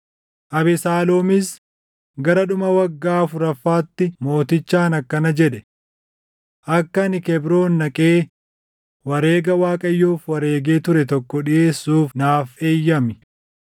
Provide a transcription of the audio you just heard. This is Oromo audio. Abesaaloomis gara dhuma waggaa afuraffaatti mootichaan akkana jedhe; “Akka ani Kebroon dhaqee wareega Waaqayyoof wareegee ture tokko dhiʼeessuuf naaf eeyyami.